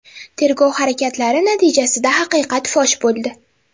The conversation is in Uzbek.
Tergov harakatlari natijasida haqiqat fosh bo‘ldi.